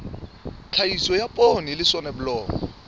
tlhahiso ya poone le soneblomo